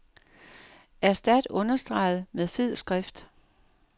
Erstat understreget med fed skrift.